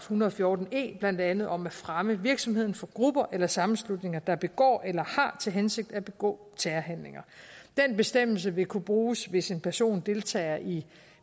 hundrede og fjorten e blandt andet om at fremme virksomheden for grupper eller sammenslutninger der begår eller har til hensigt at begå terrorhandlinger den bestemmelse vil kunne bruges hvis en person deltager i